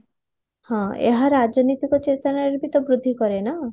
ହଁ ଏହା ରାଜନୈତିକ ଚେତନାରେ ବି ବୃଦ୍ଧି କରେ ନା